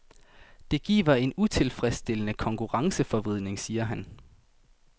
Det giver en utilfredsstillende konkurrenceforvridning, siger han.